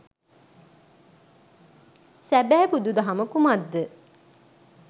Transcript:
සැබෑ බුදු දහම කුමක්ද